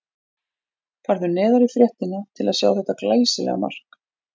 Farðu neðar í fréttina til að sjá þetta glæsilega mark.